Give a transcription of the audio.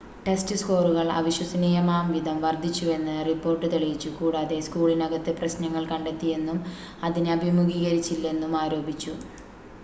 test സ്‌കോറുകൾ അവിശ്വസനീയമാംവിധം വർദ്ധിച്ചുവെന്ന് റിപ്പോർട്ട് തെളിയിച്ചു കൂടാതെ സ്കൂളിനകത്ത് പ്രശ്നങ്ങൾ കണ്ടെത്തിയെന്നും അതിനെ അഭിമുഖീകരിച്ചില്ലെന്നും ആരോപിച്ചു